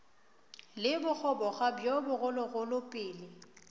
le bogoboga bjo bogologolo pele